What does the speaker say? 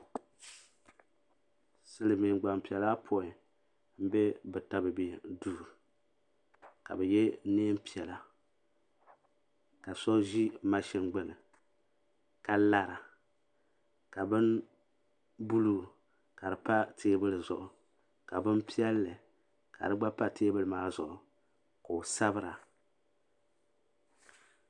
Silimiin gbampiɛla ayɔpoin m be bɛ tabibi duu ka bɛ ye niɛn piɛlla ka so ʒi maʒini gbini ka lara ka bini buluu ka di pa teebuli zuɣu ka bini piɛlli ka di gba pa teebuli maa zuɣu ka j sabira.